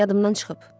Yadımdan çıxıb.